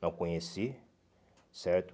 Não conheci, certo?